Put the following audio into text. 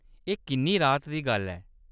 एह्‌‌ किन्नी राह्त दी गल्ल ऐ।